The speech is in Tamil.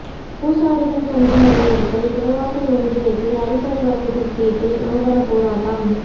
பூசாரிகள் சங்கம் வலியுறுத்தல் குடவாசல் ஒன்றியத்தில் அடிப்படை வசதி கேட்டு நூதன போராட்டம்